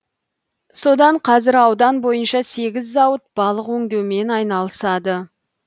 содан қазір аудан бойынша сегіз зауыт балық өңдеумен айналысады